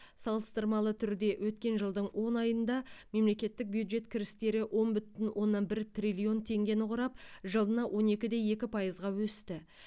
салыстырмалы түрде өткен жылдың он айында мемлекеттік бюджет кірістері он бүтін оннан бір триллион теңгені құрап жылына он екі де екі пайызға өсті